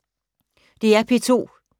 DR P2